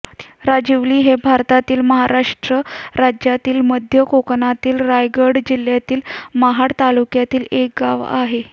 राजिवली हे भारतातील महाराष्ट्र राज्यातील मध्य कोकणातील रायगड जिल्ह्यातील महाड तालुक्यातील एक गाव आहे